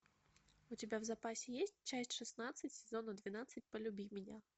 у тебя в запасе есть часть шестнадцать сезона двенадцать полюби меня